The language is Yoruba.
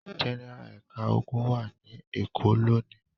Gẹ́nẹ́rà ẹ̀ka ogun wà ní Èkó lónìí.